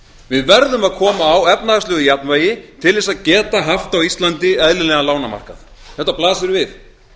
við verðum að koma á efnahagslegu jafnvægi til þess að geta haft á íslandi eðlilegan lánamarkað þetta blasir við